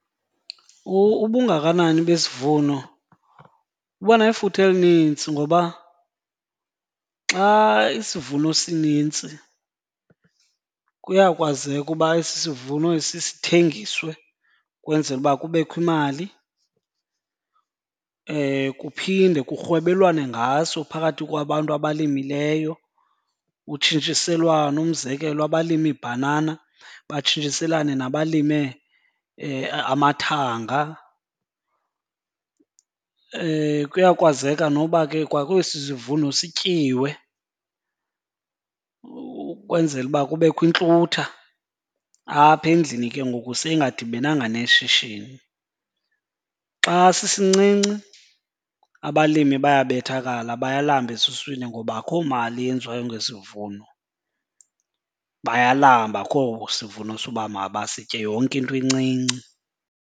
Ubungakanani besivuno buba nefuthe elinintsi ngoba xa isivuno sinintsi kuyakwazeka uba esi sivuno esi sithengiswe kwenzele uba kubekho imali. Kuphinde kurhwebelwane ngaso phakathi kwabantu abalimileyo, kutshintshiselwane. Umzekelo abalime ibhanana batshintshiselane nabalime amathanga. Kuyakwazeka noba ke kwakwesi sivuno sityiwe ukwenzela uba kubekho iintlutha apha endlini ke ngoku seyingadibananga neshishini. Xa sisincinci abalimi bayabethakala, bayalamba ezuswini ngoba akho mali yenziwayo ngesivuno. Bayalamba akho sivuno soba mabasitye, yonke into encinci.